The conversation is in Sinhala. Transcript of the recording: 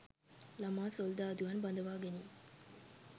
ළමා සොල්දාදුවන් බඳවාගැනීම